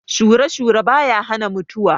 Shure-shure ba ya hana mutuwa.